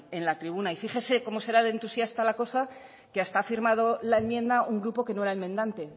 en la tribuna y fíjese cómo será de entusiasta la cosa que hasta ha firmado la enmienda un grupo que no era enmendante